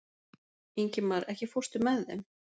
Ingimar, ekki fórstu með þeim?